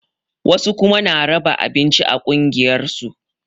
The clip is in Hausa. Wasu kuma na raba abinci a ƙungiyar su